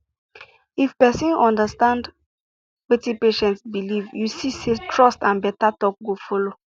if person understand wetin patient believe you see say trust and better talk go follow